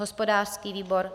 Hospodářský výbor: